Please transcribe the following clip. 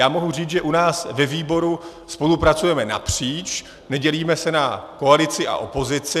Já mohu říct, že u nás ve výboru spolupracujeme napříč, nedělíme se na koalici a opozici.